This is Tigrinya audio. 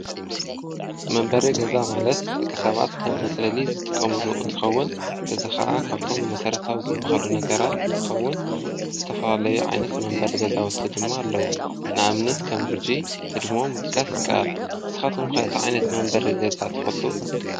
መንበሪ ገዛ ማለት ደቂ ሰባት ከም መፅለሊ ዝጥቀምሉ እንትከውን እዙይ ከዓ ካብቶም መሰራተዊ ዝባሃሉ ነገራት እንትከውን ዝተፈላለየ ዓይነት መንበሪ ገዛውቲ ድማ ኣለው። ንኣብነት ከም ጉጂ፣ ህድሞ ምጥቃስ ይካኣል። ንስካትኩም ኸ እንታይ ዓይነት መንበሪ ገዛ ትፈልጡ?